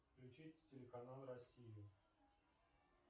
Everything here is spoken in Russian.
включить телеканал россию